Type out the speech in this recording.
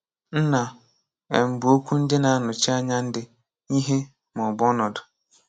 Nna um bụ okwu ndị na-anọchi anya ndị, ihe, maọbụ ọnọdụ.